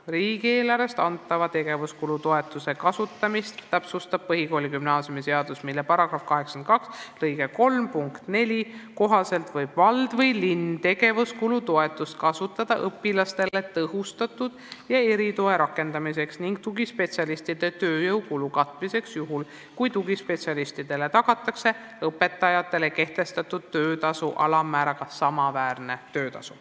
Riigieelarvest antava tegevuskulu toetuse kasutamist täpsustab põhikooli- ja gümnaasiumiseadus, mille § 82 lõike 3 punkti 4 kohaselt võib vald või linn tegevuskulu toetust kasutada õpilastele tõhustatud toe ja eritoe rakendamiseks ning tugispetsialistide tööjõu kulu katmiseks juhul, kui tugispetsialistidele tagatakse õpetajatele kehtestatud töötasu alammääraga samaväärne töötasu.